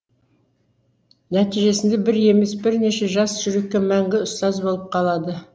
нәтижесінде бір емес бірнеше жас жүрекке мәңгі ұстаз болып қалады